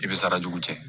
I bɛ sarajugu cɛ